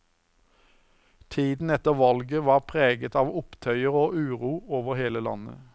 Tiden etter valget var preget av opptøyer og uro over hele landet.